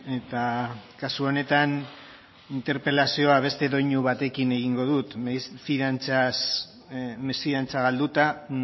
eta kasu honetan interpelazioa beste doinu batekin egingo dut mesfidantza galduta